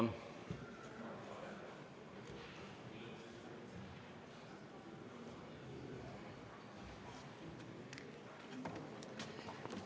Kert Kingo, palun!